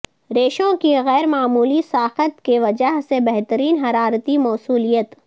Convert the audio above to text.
ریشوں کی غیر معمولی ساخت کی وجہ سے بہترین حرارتی موصلیت